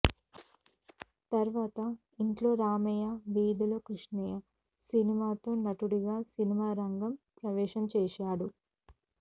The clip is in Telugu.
తర్వాత ఇంట్లో రామయ్య వీధిలో కృష్ణయ్య సినిమాతో నటుడిగా సినిమారంగ ప్రవేశం చేశాడు